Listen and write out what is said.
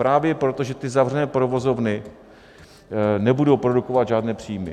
Právě proto, že ty zavřené provozovny nebudou produkovat žádné příjmy.